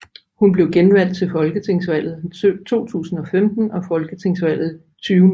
Hun blev genvalgt ved folketingsvalget 2015 og folketingsvalget 2019